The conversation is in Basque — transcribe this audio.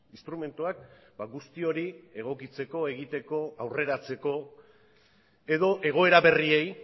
instrumentuak guzti hori egokitzeko egiteko aurreratzeko edo egoera berriei